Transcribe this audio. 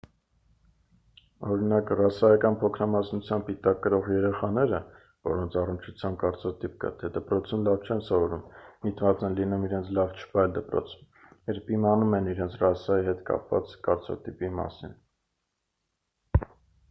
օրինակ ռասայական փոքրամասնության պիտակ կրող երեխաները որոնց առնչությամբ կարծրատիպ կա թե դպրոցում լավ չեն սովորում միտված են լինում իրենց լավ չպահել դպրոցում երբ իմանում են իրենց ռասայի հետ կապված կարծրատիպի մասին